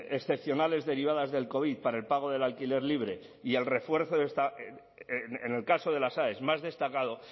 excepcionales derivadas del covid para el pago del alquiler libre y el refuerzo en el caso de las aes más destacado